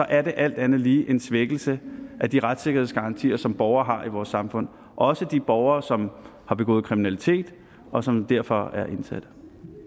er det alt andet lige en svækkelse af de retssikkerhedsgarantier som borgere har i vores samfund også de borgere som har begået kriminalitet og som derfor er indsatte